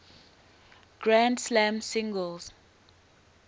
grand slam singles